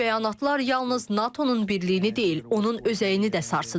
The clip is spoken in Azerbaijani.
Bu bəyanatlar yalnız NATO-nun birliyini deyil, onun özəyini də sarsıdır.